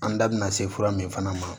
An da bina se fura min fana ma